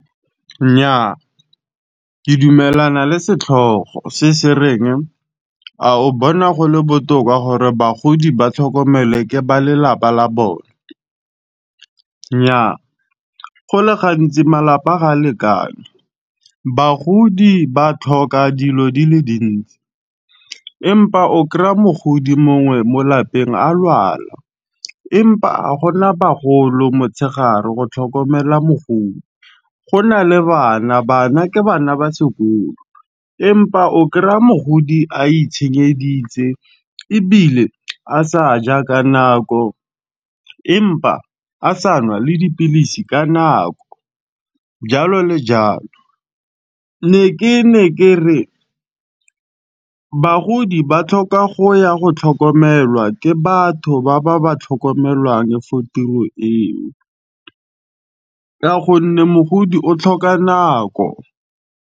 Nnyaa ke dumelana le setlhogo se sereng, a o bona gole botoka gore bagodi ba tlhokomele ke ba lelapa la bone. Nnyaa go le gantsi malapa ga a lekane, bagodi ba tlhoka dilo di le dintsi empa o kry-a mogodi mongwe mo lapeng a lwala. Empa agona bagolo motshegare go tlhokomela mogodi, go na le bana, bana ke bana ba sekolo, empa o kry-a mogodi a itshenyeditse ebile a sa ja ka nako. Empa a sa nwa le dipilisi ka nako jalo le jalo. Ne ke ne ke re bagodi ba tlhoka go ya go tlhokomelwa ke batho ba ba ba tlhokomelang for tiro eo, ka gonne mogodi o tlhoka nako.